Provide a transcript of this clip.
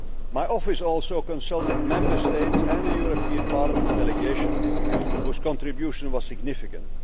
My office also consulted Member States and the European Parliament's delegation, whose contribution was significant.